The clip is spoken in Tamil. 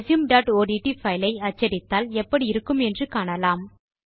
resumeஒட்ட் பைல் ஐ அச்சடித்தால் எப்படி இருக்கும் என்று காணலாம்